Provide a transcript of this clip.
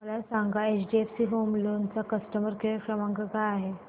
मला सांगा HDFC home loan चा कस्टमर केअर क्रमांक काय आहे